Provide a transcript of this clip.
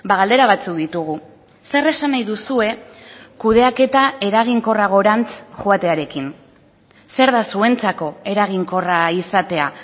galdera batzuk ditugu zer esan nahi duzue kudeaketa eraginkorragorantz joatearekin zer da zuentzako eraginkorra izatea